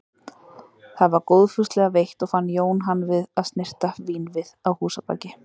Það var góðfúslega veitt og fann Jón hann við að snyrta vínvið að húsabaki.